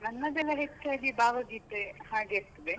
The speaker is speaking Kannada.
ನನ್ನದೆಲ್ಲ ಹೆಚ್ಚಾಗಿ ಭಾವಗೀತೆ ಹಾಗೆ ಇರ್ತದೆ.